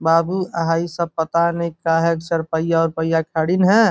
बाबू आ हइ सब पता नहीं का है सरपइया उरपइया खड़ीन है।